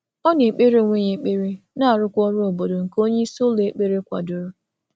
Ọ kwàpụ̀rọ ekpere onwe ya na omume òtù ndị omume òtù ndị isi okwukwe na-akwalite.